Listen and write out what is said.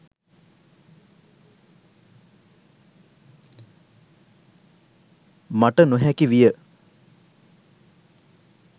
මට නොහැකි විය.